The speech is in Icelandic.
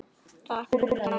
Takk fyrir það, minn kæri.